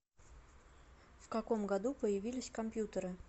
в каком году появились компьютеры